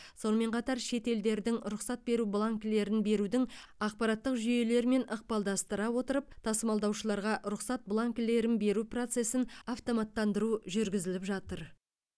сонымен қатар шет елдердің рұқсат беру бланкілерін берудің ақпараттық жүйелерімен ықпалдастыра отырып тасымалдаушыларға рұқсат бланкілерін беру процесін автоматтандыру жүргізіліп жатыр